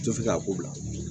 Tɛ fɛ k'a ko bila